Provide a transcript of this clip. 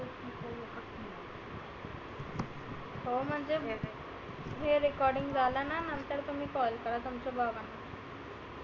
हो म्हणजे हे recording झालं ना नंतर तुम्ही call करा तुमचं बघा.